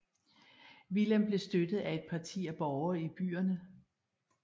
Willem blev støttet af et parti af borgere i byerne